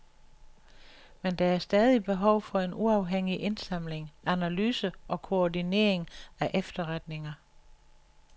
Men der er stadig behov for en uafhængig indsamling, analyse og koordinering af efterretninger.